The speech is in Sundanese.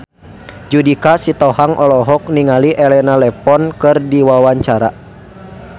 Judika Sitohang olohok ningali Elena Levon keur diwawancara